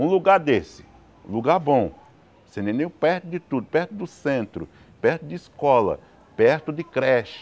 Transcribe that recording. Um lugar desse, um lugar bom, você entendeu perto de tudo, perto do centro, perto de escola, perto de creche,